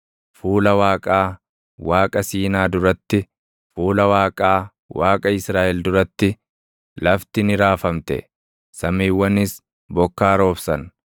fuula Waaqaa, Waaqa Siinaa duratti, fuula Waaqaa, Waaqa Israaʼel duratti, lafti ni raafamte; samiiwwanis bokkaa roobsan.